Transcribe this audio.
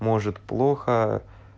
может плохо